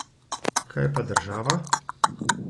Kaj pa država?